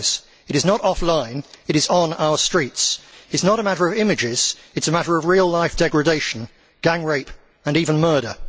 It is not a matter of images it is a matter of real life degradation, gang rape, and even murder.